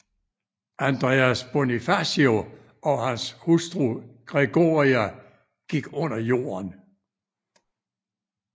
Andres Bonifacio og hans hustru Gregoria gik under jorden